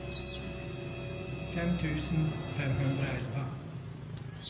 fem tusen femhundraelva